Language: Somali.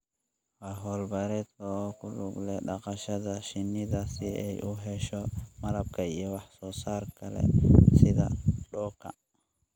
waa hawl-beereedka oo ku lug leh dhaqashada shinida si ay u hesho malabka iyo wax soo saarka kale sida dhuka.